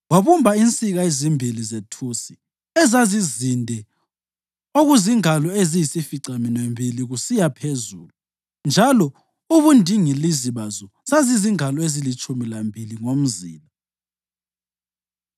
Wabumba insika ezimbili zethusi ezazizinde okuzingalo eziyisificaminwembili ukuyaphezulu njalo ubundingilizi bazo zazizingalo ezilitshumi lambili ngomzila.